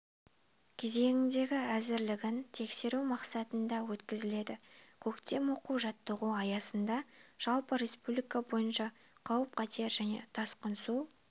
кезеңіндегі әзірлігін тексеру мақсатында өткізіледі көктем оқу-жаттығуы аясында жалпы республика бойынша қауіп-қатер және тасқын су